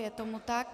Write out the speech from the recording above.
Je tomu tak.